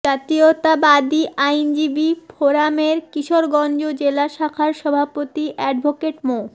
জাতীয়তাবাদী আইনজীবী ফোরামের কিশোরগঞ্জ জেলা শাখার সভাপতি অ্যাডভোকেট মো